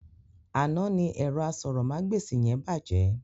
Àná ni ẹ̀rọ asọ̀rọ̀mágbèsì yẹn bàjẹ́.